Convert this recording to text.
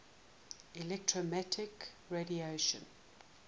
electromagnetic radiation